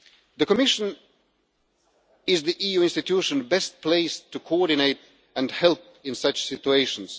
The Commission is the EU institution best placed to coordinate and help in such situations.